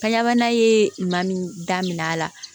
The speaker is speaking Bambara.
Kanɲɛ bana ye maa min da minɛ a la